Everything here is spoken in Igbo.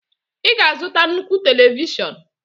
ị ga-azụta nnukwu télévishọn